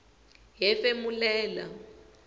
hefemulela